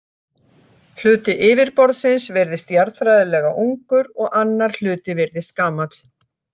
Hluti yfirborðsins virðist jarðfræðilega ungur og annar hluti virðist gamall.